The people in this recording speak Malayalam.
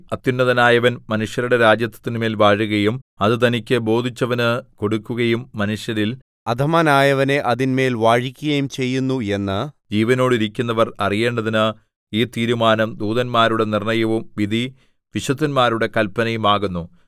അത്യുന്നതനായവൻ മനുഷ്യരുടെ രാജത്വത്തിന്മേൽ വാഴുകയും അത് തനിക്ക് ബോധിച്ചവന് കൊടുക്കുകയും മനുഷ്യരിൽ അധമനായവനെ അതിന്മേൽ വാഴിക്കുകയും ചെയ്യുന്നു എന്ന് ജീവനോടിരിക്കുന്നവർ അറിയേണ്ടതിന് ഈ തീരുമാനം ദൂതന്മാരുടെ നിർണ്ണയവും വിധി വിശുദ്ധന്മാരുടെ കല്പനയും ആകുന്നു